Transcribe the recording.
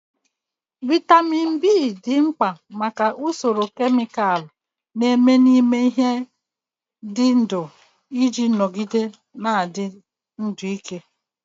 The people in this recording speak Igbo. Vitamin B dị mkpa maka usoro kemịkalụ na-eme n'ime ihe dị ndụ iji nọgide na-adị ndụ ike.